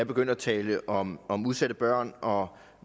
er begyndt at tale om om udsatte børn og